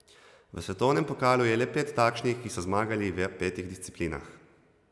V svetovnem pokalu je le pet takšnih, ki so zmagali v petih disciplinah.